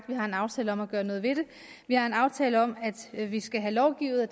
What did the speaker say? vi har en aftale om at gøre noget ved det vi har en aftale om at vi skal have lovgivet og